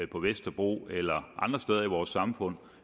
på vesterbro eller andre steder i vores samfund